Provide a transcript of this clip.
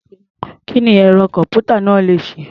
Kí ni ẹ̀rọ-kọ̀m̀pútà náà le ṣe?